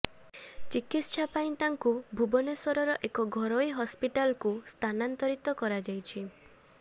ଚିକିତ୍ସା ପାଇଁ ତାଙ୍କୁ ଭୁବନେଶ୍ୱରର ଏକ ଘରୋଇ ହସପିଟାଲ୍କୁ ସ୍ଥାନାନ୍ତରିତ କରାଯାଇଛି